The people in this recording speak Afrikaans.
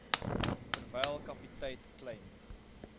terwyl kaptein kleyn